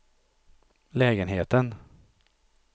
lägenheten